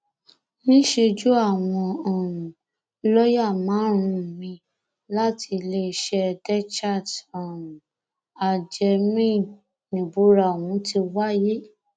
níṣẹjú àwọn um lọọyà márùnún miín láti iléeṣẹ dechert um allgemeine níbúra ọhún ti wáyé